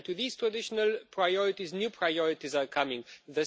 To these traditional priorities, new priorities are being added.